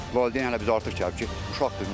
Valideyn hələ bizə artıq gəlib ki, uşaqdır.